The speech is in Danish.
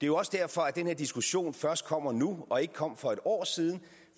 jo også derfor at den her diskussion først kommer nu og ikke kom for et år siden